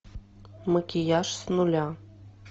макияж с нуля